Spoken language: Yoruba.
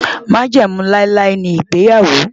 Májẹ̀mú láíláí ni ìgbéyàwó.